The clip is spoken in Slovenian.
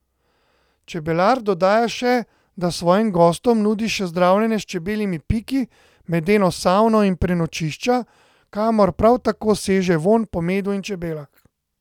Čebelar dodaja še, da svojim gostom nudi še zdravljenje s čebeljimi piki, medeno savno in prenočišča, kamor prav tako seže vonj po medu in čebelah.